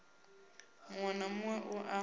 muwe na muwe u na